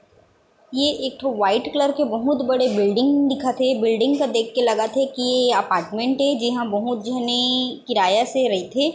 ये एक ठो व्हाइट कलर के बहुत बड़े बिल्डिंग दिखा थे बिल्डिंग ल देख के लगा थे की अपार्टमेंट ए जेमा बहुत झने किराया से रईथे।